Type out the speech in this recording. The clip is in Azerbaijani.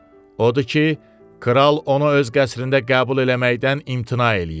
Odur ki, kral onu öz qəsrində qəbul eləməkdən imtina eləyib.